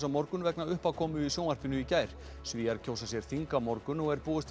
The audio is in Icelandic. á morgun vegna uppákomu í sjónvarpinu í gær Svíar kjósa sér þing á morgun og er búist